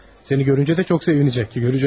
Səni görüncə də çox sevinəcək.